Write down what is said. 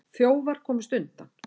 Þjófar komust undan.